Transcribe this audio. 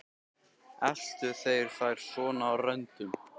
Eltu þeir þær svona á röndum?